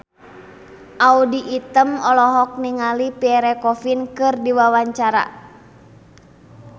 Audy Item olohok ningali Pierre Coffin keur diwawancara